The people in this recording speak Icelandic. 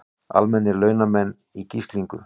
Almennir launamenn í gíslingu